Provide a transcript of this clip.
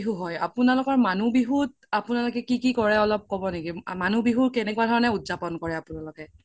আপোনালোকৰ মানুহ বিহুত অপোনালোকে কি কি কৰে ক্'ব নেকি মানুহ বিহু কেনেকুৱা ধৰণে উদযাপন কৰে অপোনালোকে